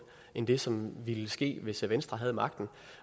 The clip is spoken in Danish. end det som ville ske hvis venstre havde magten